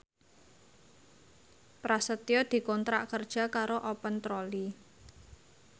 Prasetyo dikontrak kerja karo Open Trolley